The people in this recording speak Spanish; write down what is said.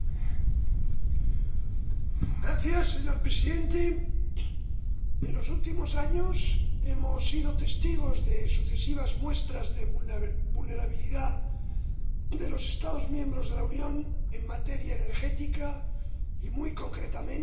Señor Presidente, en los últimos años hemos sido testigos de sucesivas muestras de vulnerabilidad de los Estados miembros de la Unión en materia energética y, muy concretamente, en el ámbito del suministro de gas.